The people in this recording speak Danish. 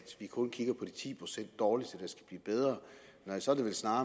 kun kigger på de ti procent dårligste der skal blive bedre nej så er det vel snarere